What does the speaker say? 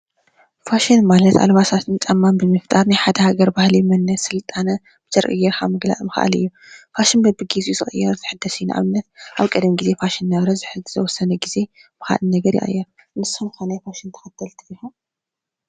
ፋሽን ማለት ኣልባሳትን ጫማን ብምፍጣር ናይ ሓደ ሃገር ባህሊ ፣ መንነት ፣ስልጣነ ክተርኢ ምኽኣል እዩ። ፋሽን በቢግዚኡ ዝቕየር ፣ዝሕደስ እዩ። ንኣብነት ኣብ ቀደም ግዜ ፋሽን ኣብዚ ሕዚ ዝተወሰነ ግዜ ይቕየር። ንስኹም ከ ናይ ፋሽን ተኸተልቲ ዲኹም?